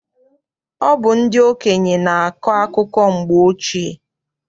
Ọ bụ ndị okenye na-akọ akụkọ mgbe ochie.